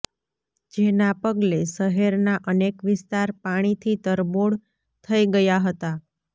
જેના પગલે શહેરના અનેક વિસ્તાર પાણીથી તરબોળ થઈ ગયા હતા